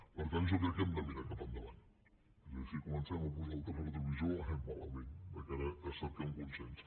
per tant jo crec que hem de mirar cap endavant és a dir si comencem a posar el retrovisor anem malament de cara a cercar un consens